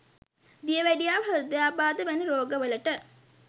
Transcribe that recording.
දියවැඩියාව හෘර්ධයාබාද වැනි රෝග වලට